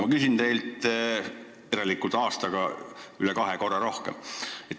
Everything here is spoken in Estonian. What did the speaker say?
Järelikult aastaga on neid saanud üle kahe korra rohkem.